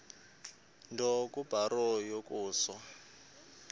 nto kubarrow yokusa